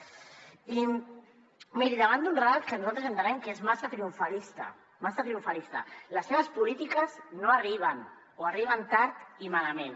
i miri davant d’un relat que nosaltres entenem que és massa triomfalista massa triomfalista les seves polítiques no arriben o arriben tard i malament